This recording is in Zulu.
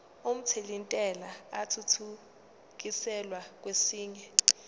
omthelintela athuthukiselwa kwesinye